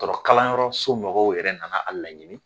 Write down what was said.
kalanyɔrɔso mɔgɔw yɛrɛ nana a laɲini